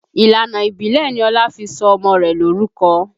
Ìlànà ìbílẹ̀ ni Ọlá fi sọ ọmọ rẹ̀ lorúkọ